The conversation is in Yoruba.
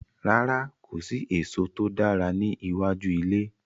Rárá, kò sí èso tó dáa ní iwájú ilé.